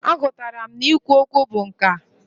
A gụtara m na i kwu okwu bụ nkà.